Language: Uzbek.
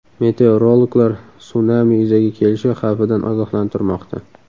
Meteorologlar sunami yuzaga kelishi xavfidan ogohlantirmoqda.